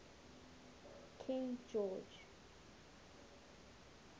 king george